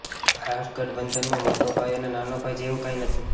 આ ગઠબંધનમાં મોટો ભાઇ અને નાનો ભાઇ જેવું કાંઇ નથી